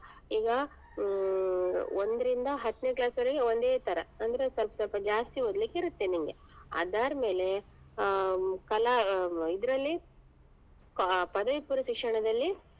ಈಗ ಹ್ಮ್ ಒಂದ್ರಿಂದ ಹತ್ನೆ class ವರೆಗೆ ಒಂದೇ ತರ ಅಂದ್ರೆ ಸ್ವಲ್ಪ ಸ್ವಲ್ಪ ಜಾಸ್ತಿ ಓದ್ಲಿಕ್ಕೆ ಇರುತ್ತೆ ನಿಂಗೆ ಅದಾದ್ಮೇಲೆ ಅಹ್ ಕಲಾ ಇದ್ರಲ್ಲಿ ಕ~ ಪದವಿ ಪೂರ್ವ ಶಿಕ್ಷಣದಲ್ಲಿ